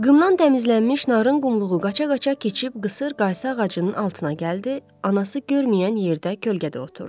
Qımdan təmizlənmiş narın qumluğu qaça-qaça keçib qısır qaysı ağacının altına gəldi, anası görməyən yerdə kölgədə oturdu.